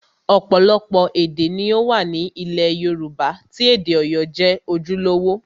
Ọ̀pọ̀lọpọ̀ èdè ni ó wà ní ilẹ̀ Yorùbá tí èdè Ọ̀yọ́ jẹ́ ojúlówó